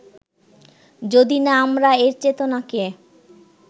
যদি না আমরা এর চেতনাকে